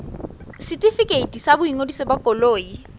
setefikeiti sa boingodiso ba koloi